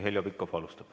Heljo Pikhof alustab.